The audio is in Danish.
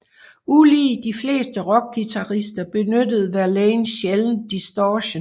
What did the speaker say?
Ulig de fleste rockguitarister benyttede Verlaine sjældendt distortion